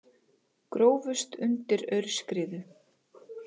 Grófust undir aurskriðu